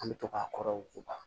An bɛ to k'a kɔrɔ u ba